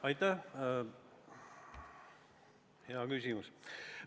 Aitäh, hea küsimus!